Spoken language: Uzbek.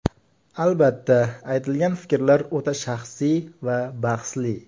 Albatta, aytilgan fikrlar o‘ta shaxsiy va bahsli.